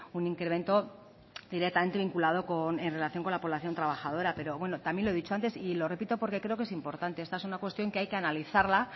un incremento directamente vinculado en relación con la población trabajadora pero también lo he dicho antes y lo repito porque creo que es importante esta es una cuestión que hay que analizarla